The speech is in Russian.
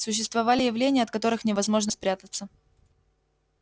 существовали явления от которых невозможно спрятаться